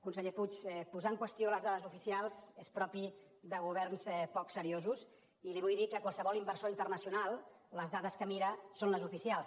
conseller puig posar en qüestió les dades oficials és propi de governs poc seriosos i li vull dir que qualsevol inversor internacional les dades que mira són les oficials